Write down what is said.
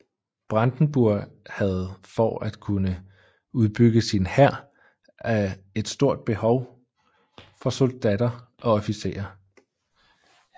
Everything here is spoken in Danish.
Brandenburg havde for at kunne udbygge sin hær et stort behov for soldatter og officerer